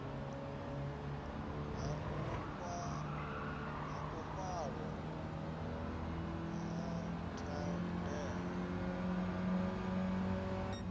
ha u fhaṱwa ha thandela